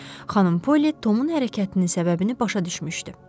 Xanım Poli Tomun hərəkətinin səbəbini başa düşmüşdü.